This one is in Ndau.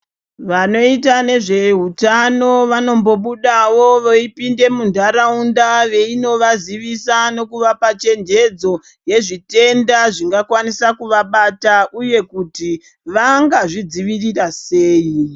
Vanoita nezvehutano vanombobudawo voyipinde mundharawunda veyinovazivisa nokuvapa chenjedzo yezvitenda zvingakwanisa kuvabata uye kuti vangazvidzivirira sei.